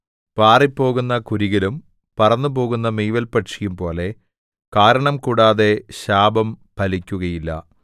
പാറിപ്പോകുന്ന കുരികിലും പറന്നുപോകുന്ന മീവൽപക്ഷിയും പോലെ കാരണംകൂടാതെ ശാപം ഫലിക്കുകയില്ല